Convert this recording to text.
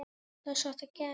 Ekkert skot á rammann?